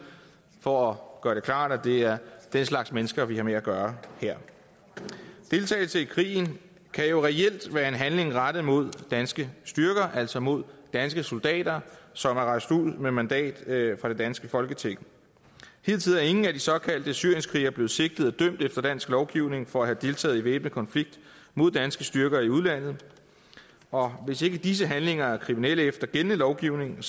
for at gøre det klart at det er den slags mennesker vi har med at gøre her deltagelse i krigen kan jo reelt være en handling rettet mod danske styrker altså mod danske soldater som er rejst ud med mandat fra det danske folketing hidtil er ingen af de såkaldte syrienskrigere blevet sigtet og dømt efter dansk lovgivning for at have deltaget i væbnet konflikt mod danske styrker i udlandet og hvis ikke disse handlinger er kriminelle efter gældende lovgivning